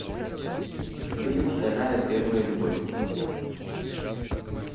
фильм вторая первая любовь